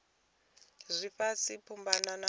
dza ifhasi kha mbumbano ya